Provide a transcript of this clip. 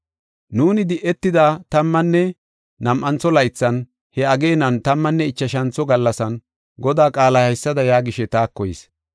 Nuuni di7etida tammanne nam7antho laythan, he ageenan, tammanne ichashantho gallasan, Godaa qaalay haysada yaagishe taako yis: